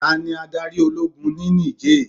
Tani adarí Ológun ni Nìjéè?